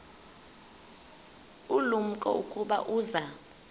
ulumko ukuba uza